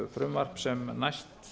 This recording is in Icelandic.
frumvarp sem næst